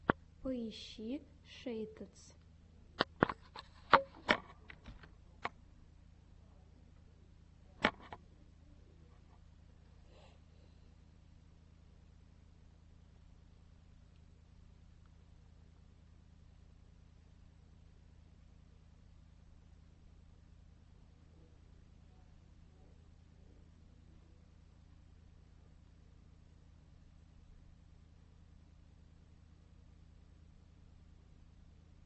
поищи шейтадс